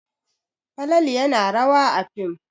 Falalu yana rawa a fim.